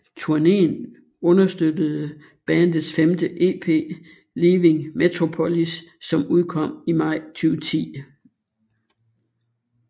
Turneen understøttede bandets femte EP Leaving Metropolis som udkom i maj 2010